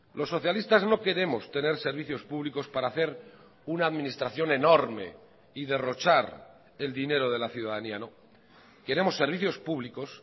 los socialistas no queremos tener servicios públicos para hacer una administración enorme y derrochar el dinero de la ciudadanía no queremos servicios públicos